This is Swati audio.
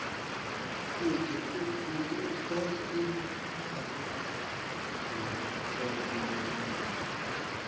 kute utfole imininingwane